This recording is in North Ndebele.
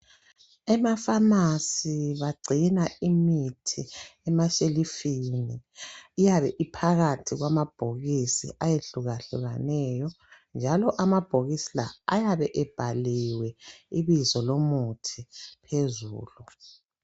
Emafamasi bagcina imithi emashelufini iyabe iphakathi kwamabhokisi ayehluka hlukeneyo njalo amabhokisi la ayabe ebhaliwe ibizo lomuthi phezulu.